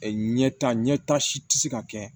Ɲɛta ɲɛta si tɛ se ka kɛ